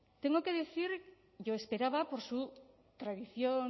tengo que decir yo esperaba por su tradición